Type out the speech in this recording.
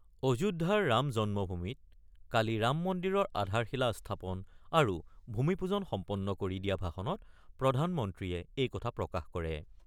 অযোধ্যাৰ ৰাম জন্মভূমিত কালি ৰাম মন্দিৰৰ আধাৰশিলা স্থাপন আৰু ভূমিপূজন সম্পন্ন কৰি দিয়া ভাষণত প্ৰধানমন্ত্ৰীয়ে এই কথা প্ৰকাশ কৰে।